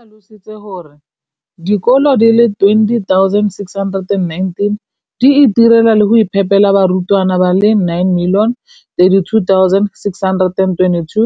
o tlhalositse gore dikolo di le 20 619 di itirela le go iphepela barutwana ba le 9 032 622